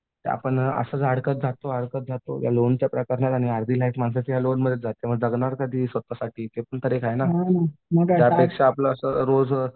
ते असं आपण असंच अडकत जातो अडकत जातो लोणच्या प्रकरणात आणि अर्धी लाईफ माणसाची या लोनमध्येच जाते मग जगणार कधी स्वतःसाठी ते पण एक आहे ना. त्यापेक्षा असं आपलं रोज